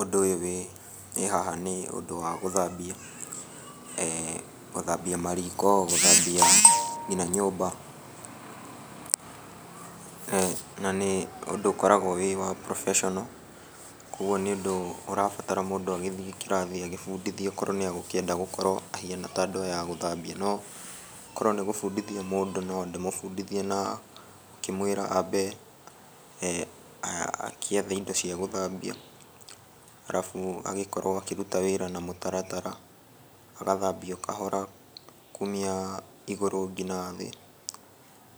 Ũndũ ũyũ wĩ haha nĩ ũndũ wa gũthambia, gũthambia mariko fũthambia nginya nyũmba. Na nĩ ũndũ ũkoragwo wĩ wa cs] professional kwoguo nĩ ũndũ ũrabatara mũndũ agĩthiĩ kĩrathi agĩbundithio okorwo nĩ egũkĩenda gũkorwo ahĩana ta andũ aya a gũthambia. No korwo nĩ gũbundithia mũndũ no ndĩmũbundithie na gĩkĩmwĩra ambe agĩethe indo cia gũthambia alafu agĩkorwo akĩruta wĩra na mũtaratara, agathambia o kahora kumia igũrũ nginya thĩ.